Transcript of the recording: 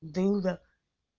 дылда